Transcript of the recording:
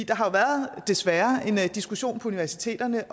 der har været desværre en diskussion på universiteterne